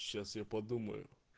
сейчас я подумаю